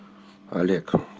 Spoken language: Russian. олег